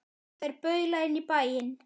Þær baula inn í bæinn.